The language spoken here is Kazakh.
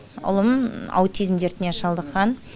ұлым аутизм дертіне шалдыққан